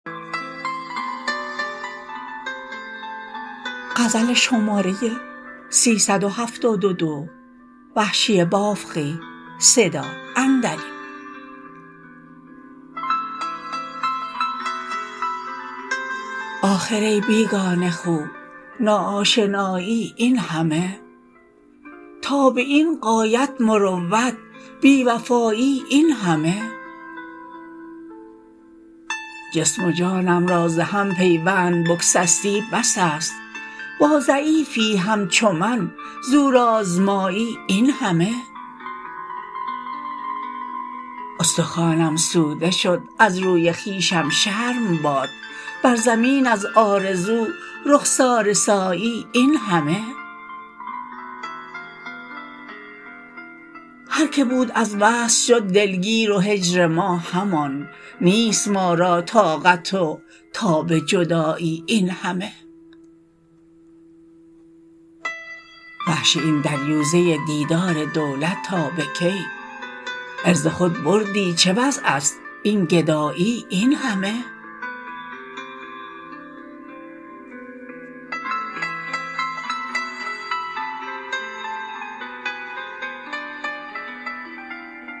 آخر ای بیگانه خو ناآشنایی اینهمه تا به این غایت مروت بیوفایی اینهمه جسم و جانم را زهم پیوند بگسستی بس است با ضعیفی همچو من زور آزمایی اینهمه استخوانم سوده شد از روی خویشم شرم باد بر زمین از آرزو رخساره سایی اینهمه هر که بود از وصل شد دلگیر و هجر ما همان نیست ما را طاقت و تاب جدایی اینهمه وحشی این دریوزه دیدار دولت تا به کی عرض خود بردی چه وضعست این گدایی اینهمه